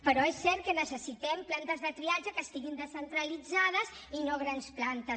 però és cert que necessitem plantes de triatge que estiguin descentralitzades i no grans plantes